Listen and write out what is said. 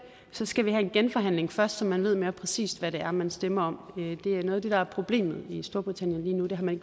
så skal vi have en genforhandling først så man ved mere præcist hvad det er man stemmer om noget af det der er problemet i storbritannien